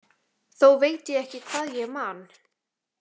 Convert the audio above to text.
Þó veit ég ekki hvað ég man.